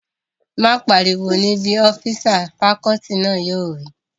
Má pariwo níbí! ọ́físà fakọọti náà yóò wí